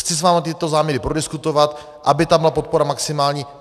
Chci s vámi tyto záměry prodiskutovat, aby tam byla podpora maximální.